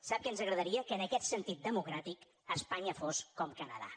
sap què ens agradaria que en aquest sentit democràtic espanya fos com canadà